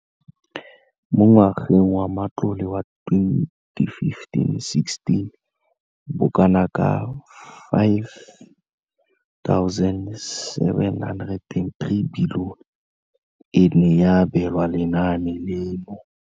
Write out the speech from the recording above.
Mo ngwageng wa matlole wa 2015 le 2016, bokanaka R5 703 bilione e ne ya abelwa lenaane leno.